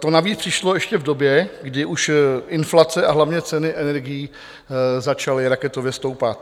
To navíc přišlo ještě v době, kdy už inflace, a hlavně ceny energií začaly raketově stoupat.